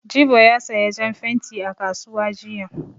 Jibo ya saya jan fenti a kasuwa jiya.